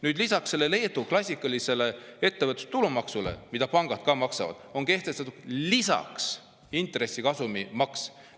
Leedus on kehtestatud lisaks klassikalisele ettevõtte tulumaksule, mida pangad maksavad, intressikasumi maks.